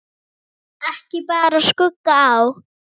Ekki bar skugga á.